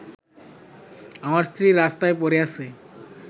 আমার স্ত্রী রাস্তায় পড়ে আছে